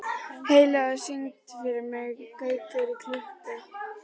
Heiðlóa, syngdu fyrir mig „Gaukur í klukku“.